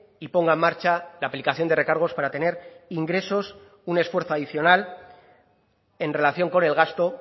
y ponga en marcha la aplicación de recargos para tener ingresos un esfuerzo adicional en relación con el gasto